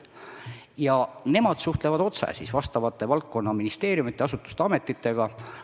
Nemad suhtlevad otse vastavate valdkondade ministeeriumide, asutuste ja ametitega.